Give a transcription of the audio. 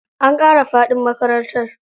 An ƙara faɗin makarantar.